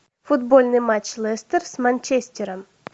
футбольный матч лестер с манчестером